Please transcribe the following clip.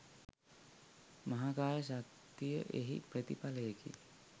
මහාකාය ශක්තිය එහි ප්‍රතිඵලයකි.